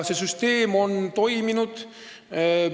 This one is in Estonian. See süsteem on toiminud.